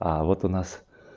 а вот у нас